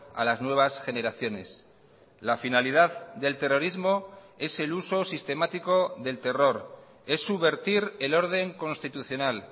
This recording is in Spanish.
a las nuevas generaciones la finalidad del terrorismo es el uso sistemático del terror es subvertir el orden constitucional